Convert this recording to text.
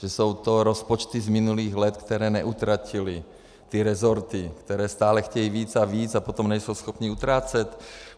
Že jsou to rozpočty z minulých let, které neutratily ty resorty, které stále chtějí víc a víc a potom nejsou schopny utrácet?